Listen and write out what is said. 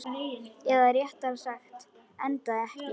Eða réttara sagt, endaði ekki.